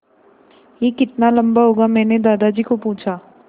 यह कितना लम्बा होगा मैने दादाजी को पूछा